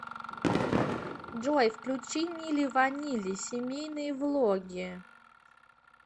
джой включи мили ванили семейные влоги